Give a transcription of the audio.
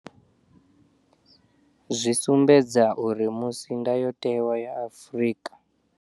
Zwi sumbedza uri musi Ndayotewa ya Afrika.